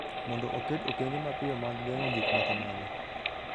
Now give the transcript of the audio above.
mondo oket okenge mapiyo mag geng’o gik ma kamago.